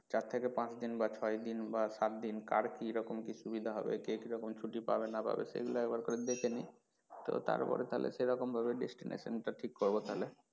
চার থেকে পাঁচ দিন বা ছয় দিন বা সাত দিন কার কীরকম কি সুবিধা হবে কে কীরকম ছুটি পাবে না পাবে সেগুলো একবার করে দেখে নেই তো তারপরে তাহলে সেরকম ভাবে destination টা ঠিক করবো তাহলে।